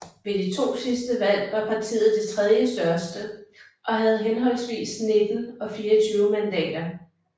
Ved de to sidste valg var partiet det tredje største og havde henholdvis 19 og 24 mandater